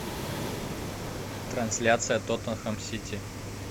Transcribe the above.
трансляция тоттенхэм сити